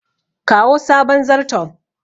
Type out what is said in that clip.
kawo sabon zarton